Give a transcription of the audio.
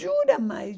Jura, mãe?